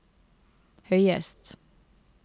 høyest